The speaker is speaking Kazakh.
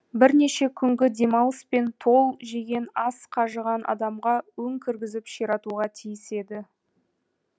бірнеше күнгі демалыс пен тол жеген ас қажыған адамға өң кіргізіп ширатуға тиіс еді